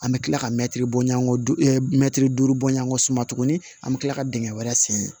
An bɛ kila ka mɛtiri bɔɲɔn mɛtiri duuru bɔɲɔngɔ suma tuguni an bɛ tila ka dingɛ wɛrɛ sen